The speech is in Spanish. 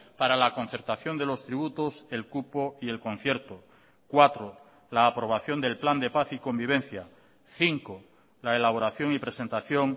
para la concertación de los tributos el cupo y el concierto cuatro la aprobación del plan de paz y convivencia cinco la elaboración y presentación